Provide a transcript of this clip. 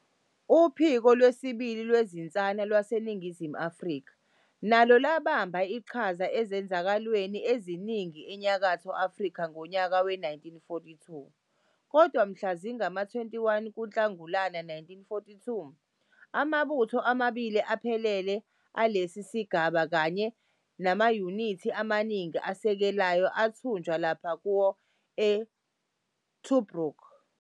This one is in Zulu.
Uphiko Lwesibili Lwezinsana lwaseNingizimu Afrika nalo lwabamba iqhaza ezenzakalweni eziningi eNyakatho Afrika ngonyaka we-1942, kodwa mhla zingama-21 kuNhlangulana 1942 amabutho amabili aphelele alesi sigaba kanye namayunithi amaningi asekelayo athunjwa lapho kuwa iTobruk.